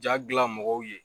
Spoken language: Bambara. Ja gilan mɔgɔw ye